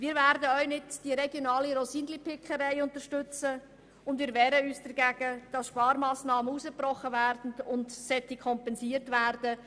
Wir werden auch nicht die regionale Rosinenpickerei unterstützen, und wir werden uns dagegen wehren, Sparmassnahmen, die herausgebrochen werden, zu kompensieren.